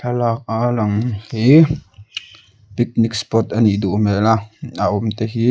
thlalak hi picnic spot anih duh hmel a a awmte hi--